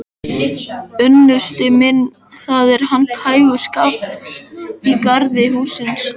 Unnusti minn, það er handhægur skafl í garði hússins.